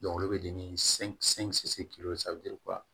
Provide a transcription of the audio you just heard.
olu bɛ di ni